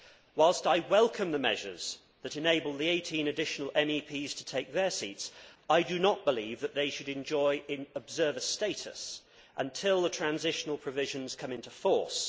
Whilst I welcome the measures that enable the 18 additional MEPs to take their seats, I do not believe that they should enjoy observer status until the transitional provisions come into force.